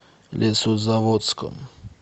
лесозаводском